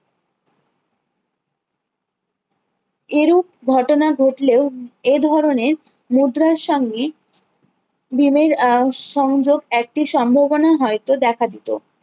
এরূপ ঘটনা ঘটলেও এধরণের মুদ্রার সংগিক ভীমের আহ সংযোগ একটি সম্ভবনা হয়তো দেখা দিত